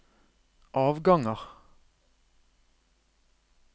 avganger